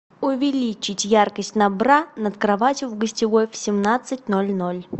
увеличить яркость на бра над кроватью в гостевой в семнадцать ноль ноль